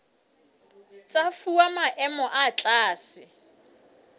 tsa fuwa maemo a tlase